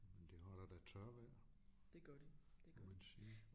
Men det holder da tørvejr må man sige